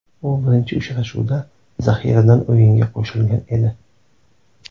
U birinchi uchrashuvda zaxiradan o‘yinga qo‘shilgan edi.